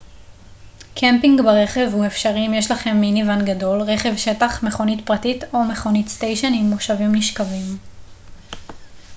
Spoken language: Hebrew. קמפינג ברכב הוא אפשרי אם יש לכם מיני-ואן גדול רכב שטח מכונית פרטית או מכונית סטיישן עם מושבים נשכבים